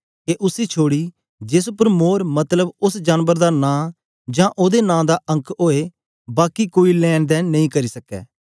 के उसी छोड़ी जेस उपर मोर मतलब उस्स जानबर दा नां जां ओदे नां दा अंक ओए बाकी कोई लैंन देंन नेई करी सक्के